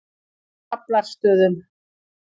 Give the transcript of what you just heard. Draflastöðum